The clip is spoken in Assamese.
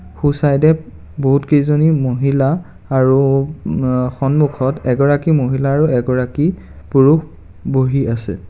সো চাইদ এ বহুত কেইজনী মহিলা আৰু মাঃ সন্মুখত এগৰাকী মহিলা আৰু এগৰাকী পুৰুষ বহি আছে.